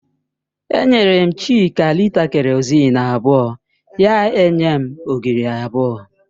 Enyere m Chika lịta kerọzin abụọ, ya enye m ogiri abụọ